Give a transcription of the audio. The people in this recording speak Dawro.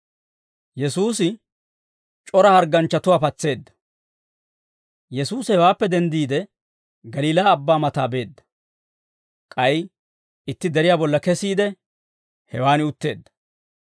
Yesuusi hewaappe denddiide, Galiilaa Abbaa mataa beedda; k'ay itti deriyaa bolla kesiide, hewaan utteedda.